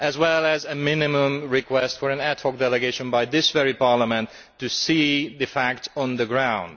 Nor did a minimum request for an ad hoc delegation by this very Parliament to see the facts on the ground.